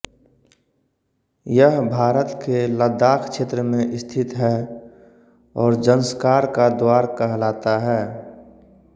यह भारत के लद्दाख़ क्षेत्र में स्थित है और ज़ंस्कार का द्वार कहलाता है